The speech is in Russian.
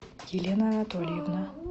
елена анатольевна